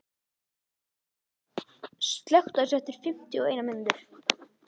Jagger, slökktu á þessu eftir fimmtíu og eina mínútur.